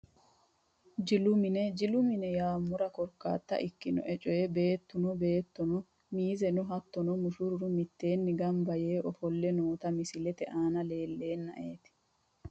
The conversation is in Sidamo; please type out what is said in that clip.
Jilu mine jilu mine yaamora korkata ikinoe coyi beetono beetuno miizeno hattono mushurru miteeni ganba yee ofole nooti misilete aana leeltenaeeti .